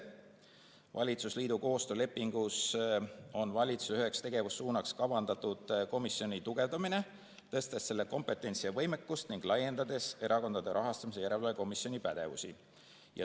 Valitsusliidu koostöölepingus on valitsuse üheks tegevussuunaks kavandatud komisjoni tugevdamine, tõstes selle kompetentsi ja võimekust ning laiendades Erakondade Rahastamise Järelevalve Komisjoni pädevust.